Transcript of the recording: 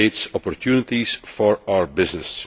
it creates opportunities for our business.